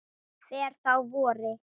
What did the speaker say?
fer þó að vori.